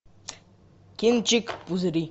кинчик пузыри